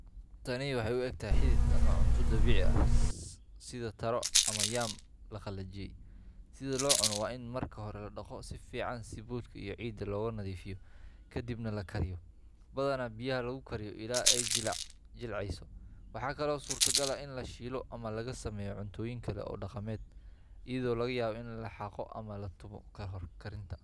Tani waxay u egtahay xidid ama cunto dabiici ah sida taro ama yam la qalajiyay. Si loo cuno, waa in marka hore la dhaqo si fiican si boodhka iyo ciidda looga nadiifiyo, kadibna la kariyaa badanaa biyaha lagu kariyo ilaa ay jilcayso. Waxa kale oo suurtogal ah in la shiilo ama laga sameeyo cuntooyin kale oo dhaqameed, iyadoo laga yaabo in la xaaqo ama la tumo ka hor karinta.